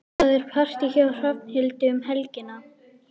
Það er partí hjá Hrafnhildi um helgina.